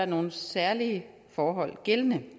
nogle særlige forhold gældende